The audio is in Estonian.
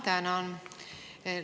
Ma tänan!